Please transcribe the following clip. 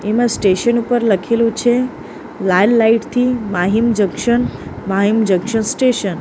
એમાં સ્ટેશન ઉપર લખેલુ છે લાલ લાઇટ થી Mahim junction Mahim junction station .